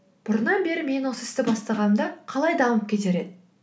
бұрыннан бері мен осы істі бастағанымда қалай дамып кетер еді